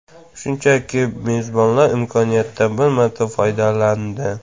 Shunchaki mezbonlar imkoniyatdan bir marta foydalandi.